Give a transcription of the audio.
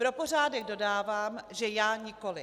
Pro pořádek dodávám, že já nikoliv.